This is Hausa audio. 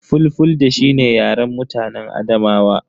Fulfulde shi ne yaren mutan Adamawa.